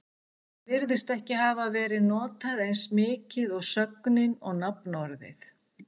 Það virðist ekki hafa verið notað eins mikið og sögnin og nafnorðið.